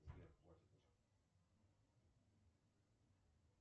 сбер хватит уже